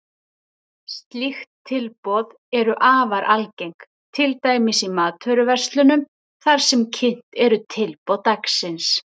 Slík tilboð eru afar algeng, til dæmis í matvöruverslunum þar sem kynnt eru tilboð dagsins.